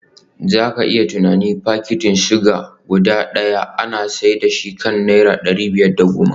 Za ka iya tunanin fakitin suga guda daya ana sayar da shi akan naira dari biyar da goma